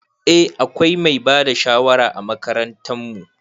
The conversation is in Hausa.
Eh akwai mai bada shawara a makarantan mu.